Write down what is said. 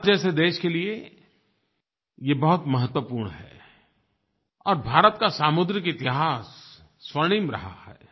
भारत जैसे देश के लिए ये बहुत महत्वपूर्ण है और भारत का सामुद्रिक इतिहास स्वर्णिम रहा है